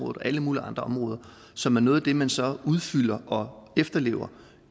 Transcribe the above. og alle mulige andre områder som er noget af det man så udfylder og efterlever